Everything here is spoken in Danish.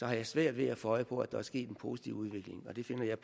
jeg svært ved at få øje på at der er sket en positiv udvikling og det finder jeg